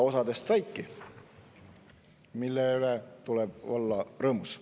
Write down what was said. Osadest saidki, mille üle tuleb olla rõõmus.